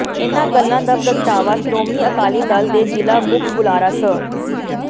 ਇਨ੍ਹਾਂ ਗੱਲਾਂ ਦਾ ਪ੍ਰਗਟਾਵਾ ਸ਼੍ਰੋਮਣੀ ਅਕਾਲੀ ਦਲ ਦੇ ਜ਼ਿਲ੍ਹਾ ਮੁਖ ਬੁਲਾਰਾ ਸ